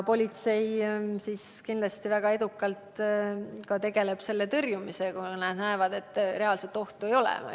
Politsei kindlasti väga edukalt tegeleb ka tõrjumisega, kui nad näevad, et reaalset ohtu ei ole.